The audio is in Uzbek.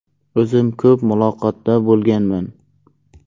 O‘zim ko‘p muloqotda bo‘lganman.